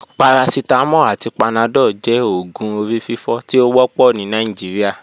Paracetamol ati panadol jẹ oògùn orififo ti o wọpọ ni Nigeria.